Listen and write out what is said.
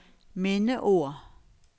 mindeord